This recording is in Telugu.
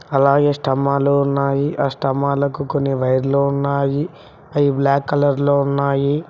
అలాగే స్తంబాలు ఉన్నాయి ఆ స్తంబాలకు కొన్ని వైర్లు ఉన్నాయి అవి బ్లాక్ కలర్ లో ఉన్నాయి.